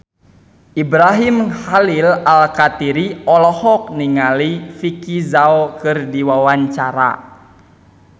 Ibrahim Khalil Alkatiri olohok ningali Vicki Zao keur diwawancara